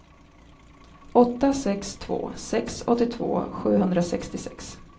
åtta sex två sex åttiotvå sjuhundrasextiosex